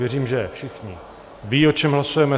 Věřím, že všichni vědí, o čem hlasujeme.